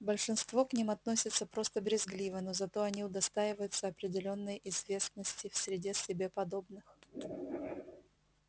большинство к ним относится просто брезгливо но зато они удостаиваются определённой известности в среде себе подобных